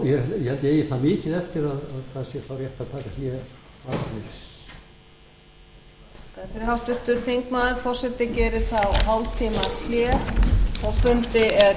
forseti ég held ég eigi það mikið eftir að það sé þá rétt að taka hlé fundarhlé